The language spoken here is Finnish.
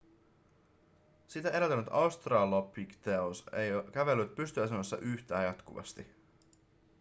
sitä edeltänyt australopithecus ei kävellyt pystyasennossa yhtä jatkuvasti